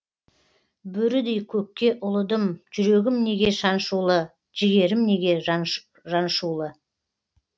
бөрідей көкке ұлыдым жүрегім неге шаншулы жігерім неге жаншулы